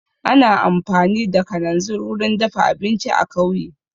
Ana amfani da kananzir wurin dafa abinci a kauye